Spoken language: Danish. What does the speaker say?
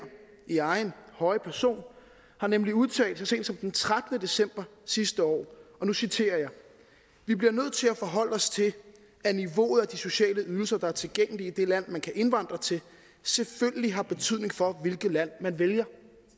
i egen høje person har nemlig udtalt så sent som den trettende december sidste år og nu citerer jeg vi bliver nødt til at forholde os til at niveauet af de sociale ydelser der er tilgængelige i det land man kan indvandre til selvfølgelig har betydning for hvilket land man vælger